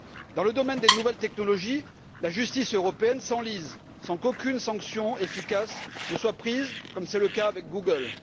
Dans le domaine des nouvelles technologies, la justice européenne s'enlise sans qu'aucune sanction efficace ne soit prise, comme c'est le cas avec Google.